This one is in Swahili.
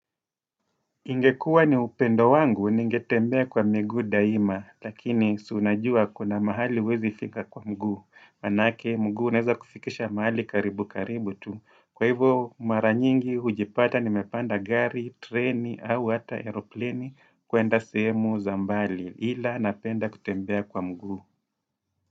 Ingekuwa ni upendo wangu, ningetembea kwa miguu daima, lakini siunajua kuna mahali huwezifika kwa mguu Maanake, mguu unaweza kufikisha mahali karibu karibu tu. Kwa hivyo, mara nyingi, hujipata, nimepanda gari, treni, au hata eropleni, kwenda semu za mbali, ila napenda kutembea kwa mguu.